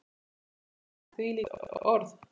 Enginn hefur sagt þvílík orð.